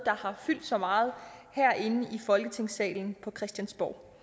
har fyldt så meget herinde i folketingssalen på christiansborg